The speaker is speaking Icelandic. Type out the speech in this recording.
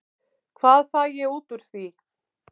Hvað fæ ég út úr því?